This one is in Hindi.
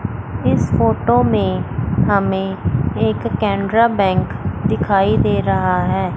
इस फोटो में हमें एक केनरा बैंक दिखाई दे रहा है।